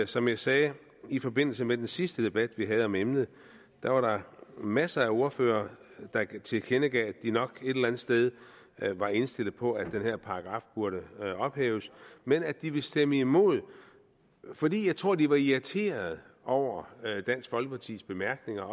som jeg sagde i forbindelse med den sidste debat vi havde om emnet var der masser af ordførere der tilkendegav at de nok et eller andet sted var indstillet på at den her paragraf burde ophæves men at de ville stemme imod fordi tror jeg de var irriterede over dansk folkepartis bemærkninger